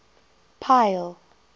pile